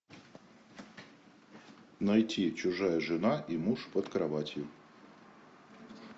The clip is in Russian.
найти чужая жена и муж под кроватью